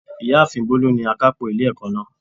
Ìyáàfin Bólú ni akápò ilé ẹ̀kọ́ náà